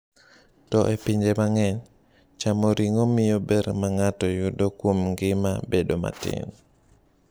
To e pinje mang’eny, chamo ring’o miyo ber ma ng’ato yudo kuom ngima bedo matin.